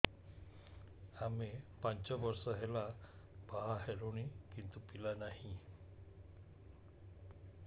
ଆମେ ପାଞ୍ଚ ବର୍ଷ ହେଲା ବାହା ହେଲୁଣି କିନ୍ତୁ ପିଲା ନାହିଁ